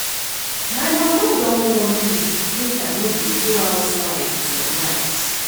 My mama don warn me make I no dey go outside for night